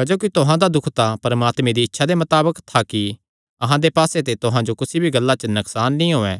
क्जोकि तुहां दा दुख परमात्मे दी इच्छा दे मताबक था कि अहां दे पास्से ते तुहां जो कुसी भी गल्ला च नकसान नीं होयैं